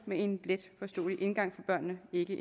med en letforståelig indgang for børnene ikke